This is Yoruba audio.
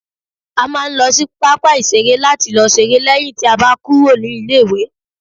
a ma n lo sí papa iṣere lati lo s'ere leyin ti a ba kúrò ní ilé iwe